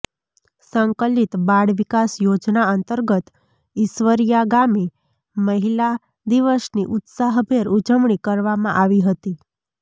સંકલિત બાળ વિકાસ યોજના અંતર્ગત ઈશ્વરિયા ગામે મહિલા દિવસની ઉત્સાભેર ઉજવણી કરવામાં આવી હતી